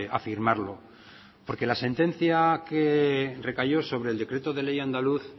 afirmarlo porque la sentencia que recayó sobre el decreto de ley andaluz